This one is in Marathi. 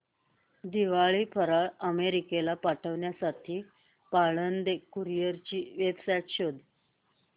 दिवाळी फराळ अमेरिकेला पाठविण्यासाठी पाळंदे कुरिअर ची वेबसाइट शोध